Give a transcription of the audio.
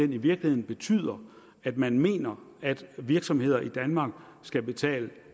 virkeligheden betyder at man mener at virksomheder i danmark skal betale